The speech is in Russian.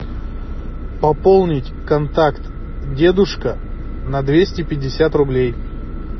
пополнить контакт дедушка на двести пятьдесят рублей